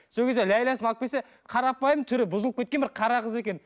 сол кезде ләйласын алып келсе қарапайым түрі бұзылып кеткен бір қара қыз екен